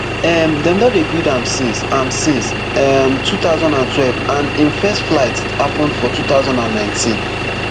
um dem don dey build am since am since um two thousand and twelve and im first flight happun for two thousand and nineteen